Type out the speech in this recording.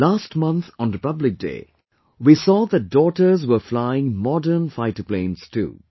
Last month on Republic Day we saw that daughters were flying modern fighter planes too